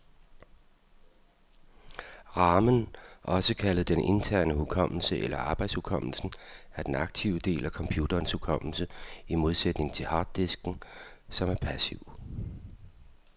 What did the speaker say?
Ramen, også kaldet den interne hukommelse eller arbejdshukommelsen, er den aktive del af computerens hukommelse, i modsætning til harddisken, som er passiv.